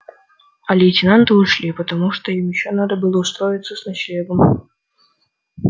а лейтенанты ушли потому что им ещё надо было устроиться с ночлегом